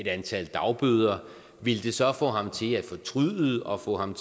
antal dagbøder ville det så få ham til at fortryde og få ham